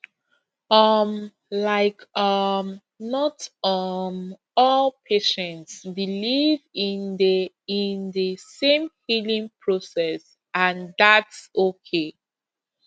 um like um not um all patients believe in the in the same healing process and thats okay